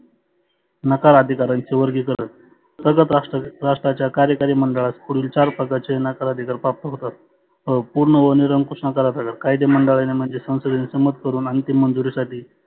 नकार अधिकारांच वर्गिकरण प्रगत राष्ट्राच्या कार्यकरी मंडळात पुढील चार प्रकारचे नकार अधिकार प्राप्त होतात. पुर्ण व निरंकुश नकारा साठी कायदे मंडळानी म्हणजे संसदेने सम्मत करुण अंतीम मंजुरीसाठि